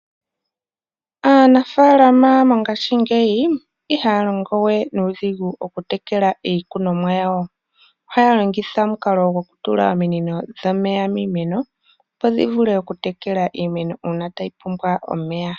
Aanafalama mongaashingeyi ihaya longo we nuudhigu okutekela iikunomwa yawo. Ohaya longitha omukalo gwokutula ominino dhomeya miimeno opo dhi vule okutekela iimeno uuna ya pumbwa omeya.